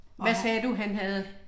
Hvad sagde du han havde?